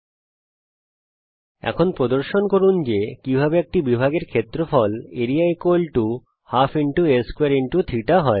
আমরা যা শিখেছি তা ব্যবহার করে প্রদর্শন করুন যে কিভাবে একটি বিভাগ এর ক্ষেত্রফল ½ আ2 θ হয়